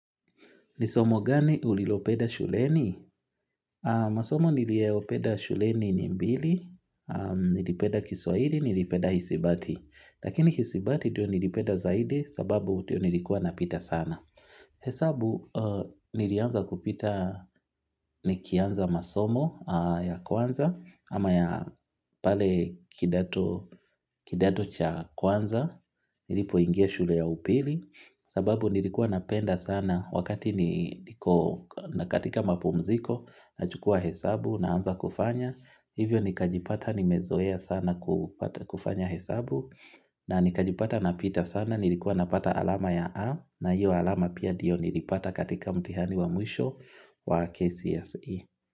Ni somo gani ulilopeda shuleni? Masomo niliyopenda shuleni ni mbili, nilipenda Kiswahili, nilipenda hisibati. Masomo nilieopenda shuleni ni mbili, nilipenda Kiswahili nilipenda hisibati. Hesabu nilianza kupita ni kianza masomo ya kwanza ama ya pale kidato cha kwanza nilipo ingia shule ya upili sababu nilikuwa napenda sana wakati niko na katika mapumziko na chukua hesabu na anza kufanya hivyo nikajipata nimezoea sana kufanya hesabu na nikajipata napita sana nilikuwa napata alama ya A na hiyo alama pia dio nilipata katika mtihani wa mwisho wa KCSE.